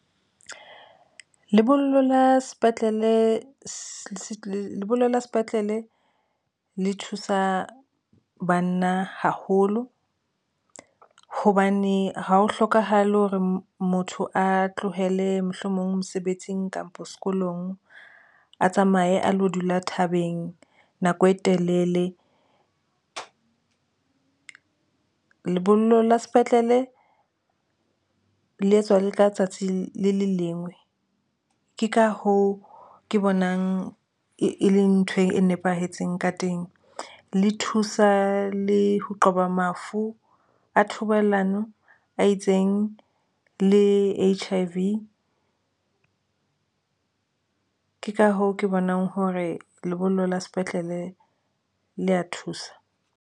Lebollo la sepetlele se lebollo la sepetlele le thusa banna haholo hobane ha ho hlokahale hore motho a tlohele mohlomong mosebetsing kapo sekolong a tsamaye a lo dula thabeng nako e telele lebollo la sepetlele le etswa le ka tsatsi le leng lengwe. Ke ka hoo ke bonang e le nthwe e nepahetseng ka teng. Le thusa le ho qoba mafu a thobalano a itseng, le H_I_V ke ka hoo ke bonang hore lebollo la sepetlele le ya thusa.